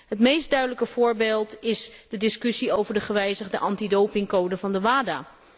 Het meest duidelijke voorbeeld is de discussie over de gewijzigde antidopingcode van het WADA.